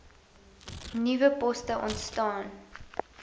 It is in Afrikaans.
nuwe poste ontstaan